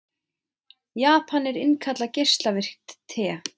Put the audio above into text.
Japanar innkalla geislavirkt te